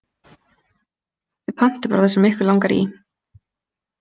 Þið pantið bara það sem ykkur langar í.